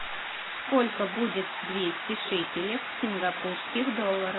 сколько будет двести шекелей в сингапурских долларах